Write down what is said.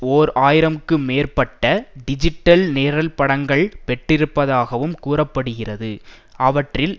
ஓர் ஆயிரம்க்கு மேற்பட்ட டிஜிட்டல் நிரல்படங்களைப் பெட்டிருப்பதாக கூற படுகிறது அவற்றில்